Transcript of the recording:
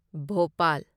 Bhopal